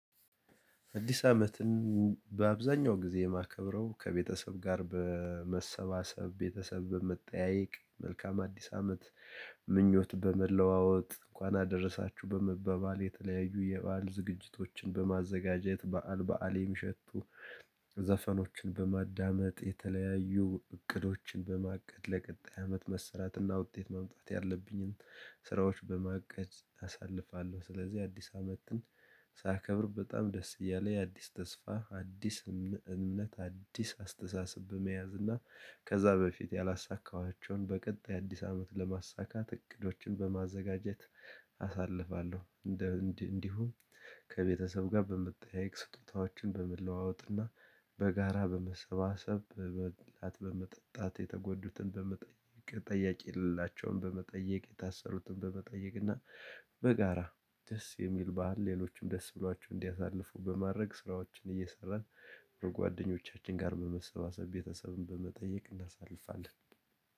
አዲስ አመትን በአብዛኛው ጊዜ የማከብረው ከቤተሰብ ጋር በመሰባሰብ ቤተሰብ በመጠያየቅ መልካም አዲስ አመት ምኞት በመለዋወጥ እንኳን አደረሳችሁ በመበባል የተለያዩ የበአል ዝግጅቶችን በማዘጋጀት በዓል በዓል የሚሸቱ ዘፈኖችን በማዳመጥ የተለያዩ እቅዶችን በማቀድ ለቀጣይ አመት መሰራትና ውጤት ማምጣት ያለብኝን ስራዎች በማቀድ አሳልፋለሁ። ስለዚህ አዲስ አመትን ሳከብር በጣም ደስ እያለኝ የአዲስ ተስፋ አዲስ እምነት አዲስ አስተሳሰብ በመያዝ እና ከዛ በፊት ያላሳካኋቸውን በቀጣይ አዲስ አመት ለማሳካት እቅዶችን በማዘጋጀት አሳልፋለሁ። እንደ እንዲሁም ከቤተሰብ ጋር በምትጠይቅ ስጦታዎችን በመለዋወጥና በጋራ በመሰባሰብ በበላት በመጠጣት የተጎዱትን በመጠየቅ ጠያቂ የሌላቸውን በመጠየቅ የታሰሩትን በመጠየቅ እና በጋራ ደስ የሚል ባህል ሌሎችም ደስ ብሏችሁ እንዲያሳልፉ በማድረግ ስራዎችን እየሰራን ጓደኞቻችን ጋር በመሰባሰብ ቤተሰብን በመጠየቅ እናሳልፋለን።